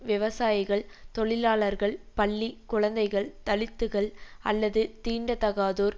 விவசாயிகள் தொழிலாளர்கள் பள்ளி குழந்தைகள் தலித்துகள் அல்லது தீண்டத்தகாதோர்